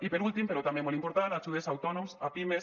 i per últim però també molt important ajudes a autònoms a pimes